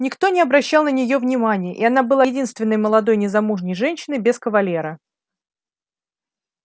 никто не обращал на нее внимания и она была единственной молодой незамужней женщиной без кавалера